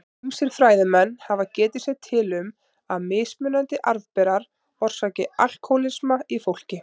Ýmsir fræðimenn hafa getið sér til um að mismunandi arfberar orsaki alkóhólisma í fólki.